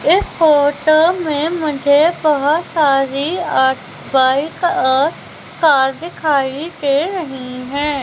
इस फोटो में मुझे बहोत सारी आ बाइक और कार दिखाई दे रही हैं।